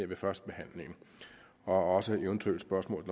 ved førstebehandlingen også eventuelle spørgsmål